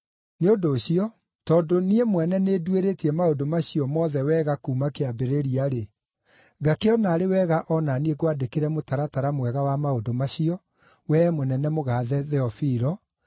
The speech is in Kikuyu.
Nĩ ũndũ ũcio, tondũ niĩ mwene nĩnduĩrĩtie maũndũ macio mothe wega kuuma kĩambĩrĩria-rĩ, ngakĩona arĩ wega o na niĩ ngwandĩkĩre mũtaratara mwega wa maũndũ macio, wee mũnene mũgaathe Theofilo,